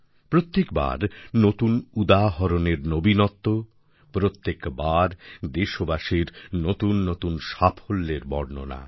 প্রত্যেক বার নতুন উদাহরণের নবীনত্ব প্রত্যেক বার দেশবাসীর নতুননতুন সাফল্যের বর্ণনা